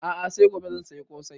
A'a sai gobe zan saya ƙosai